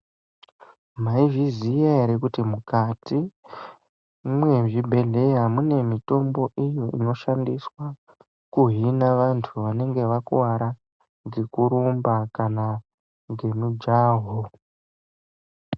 Maizviziya ere kuti mukati mwezvibhedhlera mune mitombo iyo inoshandiswa kuhina vantu, vanenge vakuwara ngekurumba kana ngemijaho.